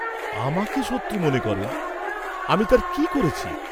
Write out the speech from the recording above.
"আমাকে শত্রু মনে করেন, আমি তাঁর কি করেছি?"